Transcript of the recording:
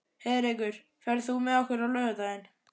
Heiðrekur, ferð þú með okkur á laugardaginn?